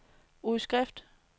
udskrift